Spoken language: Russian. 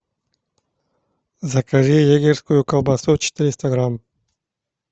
закажи егерскую колбасу четыреста грамм